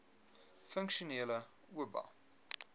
funksionele oba